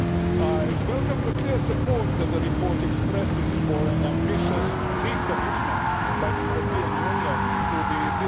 I welcome the clear support that the report expresses for an ambitious recommitment by the European Union to the